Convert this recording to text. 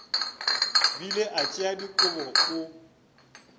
bile a tšea dikobo o